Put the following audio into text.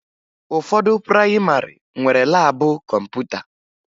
Ụfọdụ prayịmarị nwere laabụ kọmputa